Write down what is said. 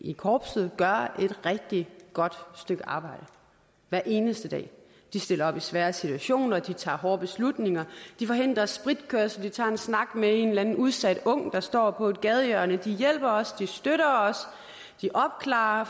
i korpset gør et rigtig godt stykke arbejde hver eneste dag de stiller op i svære situationer de tager hårde beslutninger de forhindrer spritkørsel de tager en snak med en eller anden udsat ung der står på et gadehjørne de hjælper og støtter os og de opklarer